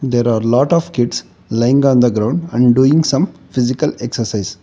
there are lot of kids lying on the ground and doing some physical exercise.